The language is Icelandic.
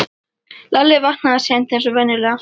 Lalli vaknaði seint eins og venjulega.